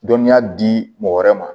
Dɔnniya di mɔgɔ wɛrɛ ma